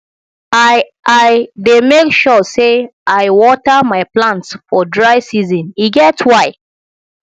i i dey make sure sey i water my plants for dry season e get why